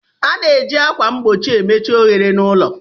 A na-eji ákwà mgbochi emechi ohere na úlọ.